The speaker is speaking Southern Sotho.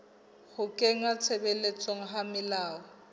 ho kenngwa tshebetsong ha melao